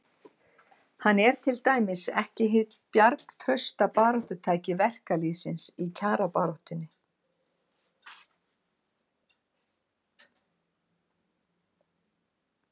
Hann er til dæmis ekki hið bjargtrausta baráttutæki verkalýðsins í kjarabaráttunni.